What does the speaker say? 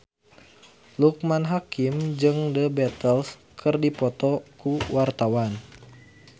Loekman Hakim jeung The Beatles keur dipoto ku wartawan